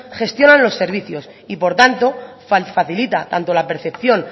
gestionan los servicios y por tanto facilita tanto la percepción